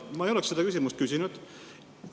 Ma ei oleks seda küsimust küsinud.